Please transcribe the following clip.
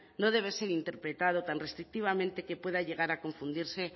no debe ser interpretado tan restrictivamente que pueda llegar a confundirse